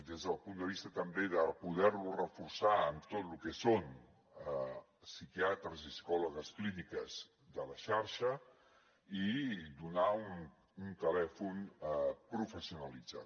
des del punt de vista també de poder lo reforçar amb tot lo que són psiquiatres i psicòlogues clíniques de la xarxa i donar un telèfon professionalitzat